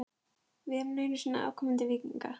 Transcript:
Við erum nú einu sinni afkomendur víkinga.